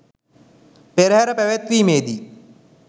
පෙරහර පැවැත්වීමේදී